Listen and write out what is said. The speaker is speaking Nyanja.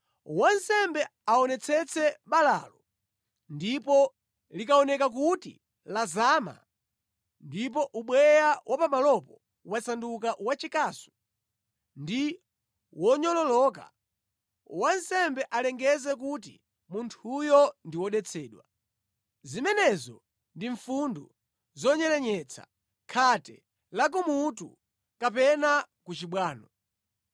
wansembe aonetsetse balalo ndipo likaoneka kuti lazama, ndipo ubweya wa pamalopo wasanduka wachikasu ndi wonyololoka, wansembe alengeze kuti munthuyo ndi wodetsedwa. Zimenezo ndi mfundu zonyerenyetsa, khate lakumutu kapena ku chibwano.